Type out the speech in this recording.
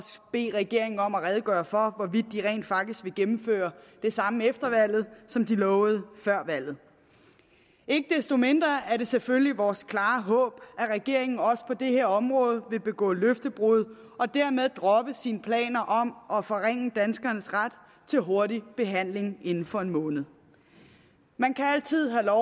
bede regeringen om at redegøre for hvorvidt de rent faktisk vil gennemføre det samme efter valget som de lovede før valget ikke desto mindre er det selvfølgelig vores klare håb at regeringen også på det her område vil begå løftebrud og dermed droppe sine planer om at forringe danskernes ret til hurtig behandling inden for en måned man kan altid have